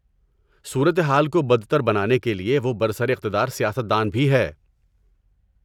صورتحال کو بدتر بنانے کے لیے وہ برسر اقتدار سیاست دان بھی ہے۔